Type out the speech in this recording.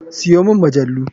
Siyo mini majalu.